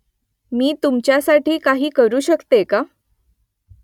मी तुमच्यासाठी काही करू शकते का ?